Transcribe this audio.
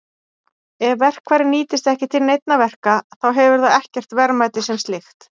Ef verkfærið nýtist ekki til neinna verka þá hefur það ekkert verðmæti sem slíkt.